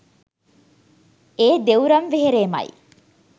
ඒ දෙව්රම් වෙහෙරේමයි